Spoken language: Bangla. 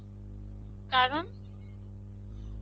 কারণ?